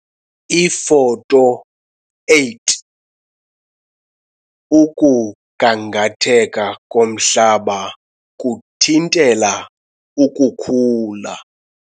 Ifoto 8 - Ukugangatheka komhlaba kuthintela ukukhula.